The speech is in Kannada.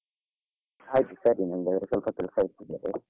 ಆಯ್ತು ಸರಿ ನಂದು ಸ್ವಲ್ಪ ಕೆಲ್ಸ .